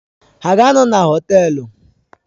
Ha ga-anọ na Họtelu?